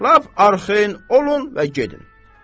Lap arxayın olun və gedin.